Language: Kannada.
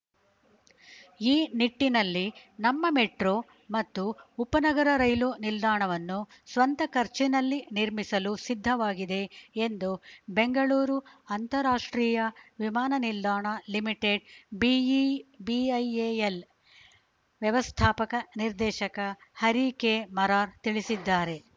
ಈ ನಿಟ್ಟಿನಲ್ಲಿ ನಮ್ಮ ಮೆಟ್ರೋ ಮತ್ತು ಉಪನಗರ ರೈಲು ನಿಲ್ದಾಣವನ್ನು ಸ್ವಂತ ಖರ್ಚಿನಲ್ಲಿ ನಿರ್ಮಿಸಲು ಸಿದ್ಧವಾಗಿದೆ ಎಂದು ಬೆಂಗಳೂರು ಅಂತಾರಾಷ್ಟ್ರೀಯ ವಿಮಾನ ನಿಲ್ದಾಣ ಲಿಮಿಟೆಡ್‌ಬಿಐಎಎಲ್‌ ವ್ಯವಸ್ಥಾಪಕ ನಿರ್ದೇಶಕ ಹರಿ ಕೆಮರಾರ್‌ ತಿಳಿಸಿದ್ದಾರೆ